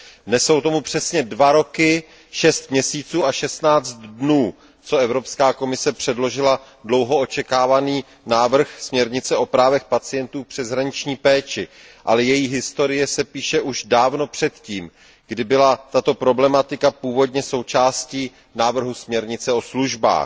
Dnes jsou tomu přesně 2 roky 6 měsíců a 16 dnů, co Evropská komise předložila dlouho očekávaný návrh směrnice o právech pacientů v přeshraniční péči, ale její historie se píše už dávno předtím, kdy byla tato problematika původně součástí návrhu směrnice o službách.